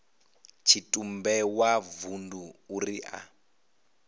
tshitumbe wa vundu uri a